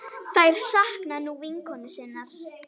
Þær sakna nú vinkonu sinnar.